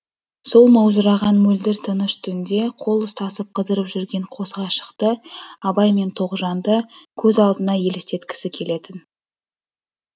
сол маужыраған мөлдір тыныш түнде қол ұстасып қыдырып жүрген қос ғашықты абай мен тоғжанды көз алдына елестеткісі келетін